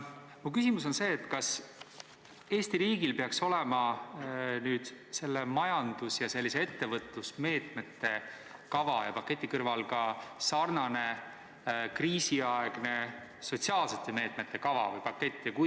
Mu küsimus on selline: kas Eesti riigil peaks selle majandus- ja ettevõtlusmeetmete kava ja paketi kõrval olema ka sarnane kriisiaegne sotsiaalsete meetmete kava või pakett?